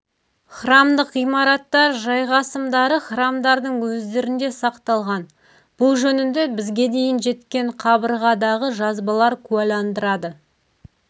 храмдық ғимараттар жайғасымдары храмдардың өздерінде сақталған бұл жөнінде бізге дейін жеткен қабырғадағы жазбалар куәландырады